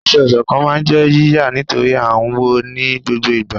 aṣọ-isọ̀kán ma n jé yíyá nitori a n wọ ní gbógbó ìgbà